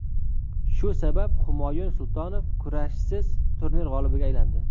Shu sabab, Humoyun Sultonov kurashsiz turnir g‘olibiga aylandi.